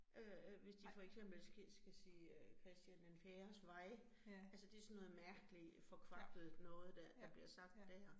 Øh hvis de for eksempel skal skal sige øh Christian den fjerdes vej, altså det sådan noget mærkeligt forkvaklet noget dér, der bliver sagt dér